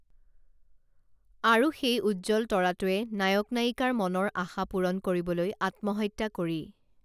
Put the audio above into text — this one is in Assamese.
আৰু সেই উজ্জ্বল তৰাটোৱে নায়ক নায়িকাৰ মনৰ আশা পূৰণ কৰিবলৈ আত্মহত্যা কৰি